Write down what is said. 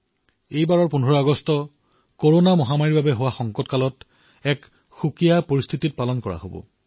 এইবাৰৰ ১৫ আগষ্টও এক পৃথক পৰিস্থিতিত উদযাপিত হব কৰোনা মহামাৰীৰ এই বিপদৰ মাজত হব